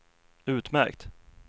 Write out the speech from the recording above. utmärkt